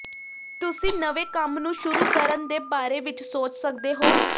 ਤੁਸੀ ਨਵੇਂ ਕੰਮ ਨੂੰ ਸ਼ੁਰੂ ਕਰਣ ਦੇ ਬਾਰੇ ਵਿੱਚ ਸੋਚ ਸੱਕਦੇ ਹੋ